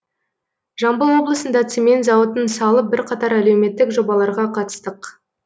жамбыл облысында цемент зауытын салып бірқатар әлеуметтік жобаларға қатыстық